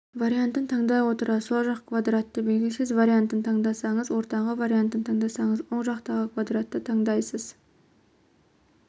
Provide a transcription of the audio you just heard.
вариантын таңдай отыра сол жақ квадратты белгілейсіз вариантын таңдасаңыз ортаңғы вариантын таңдасаңыз оң жақтағы квадратты таңдайсыз